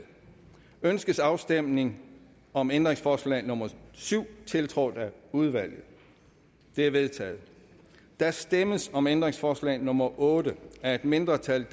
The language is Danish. ønskes afstemning om ændringsforslag nummer syv tiltrådt af udvalget det er vedtaget der stemmes om ændringsforslag nummer otte af et mindretal